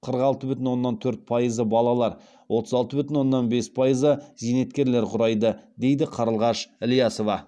қырық алты бүтін оннан төрт пайызы балалар отыз алты бүтін оннан бес пайызы зейнеткерлер құрайды дейді қарлығаш ілиясова